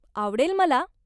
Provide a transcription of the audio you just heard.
आवडेल मला!